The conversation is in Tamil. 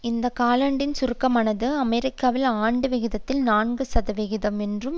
இந்த காலாண்டில் சுருக்கமானது அமெரிக்காவில் ஆண்டு விகிதத்தில் நான்கு சதவிகிதம் என்றும்